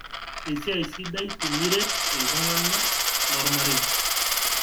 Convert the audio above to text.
Esiai sidai tiniret ltung'ana lolmarei